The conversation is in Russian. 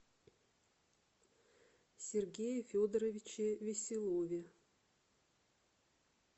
сергее федоровиче веселове